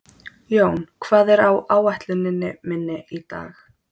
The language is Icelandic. Jón, hvað er á áætluninni minni í dag?